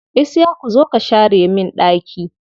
Isiyaku zo ka share min ɗaki.